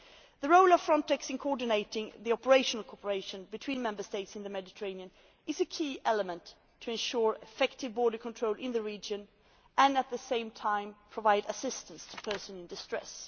The role of Frontex in coordinating the operational cooperation between Member States in the Mediterranean is a key element to ensure effective border control in the region and at the same time provide assistance to persons in distress.